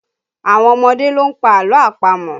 Àwọn ọmọdé ló ń pa àlọ́ àpamọ̀